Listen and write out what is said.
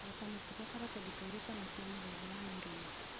ota mũtugo karatathi kairũ kana cia mũthemba wa naironi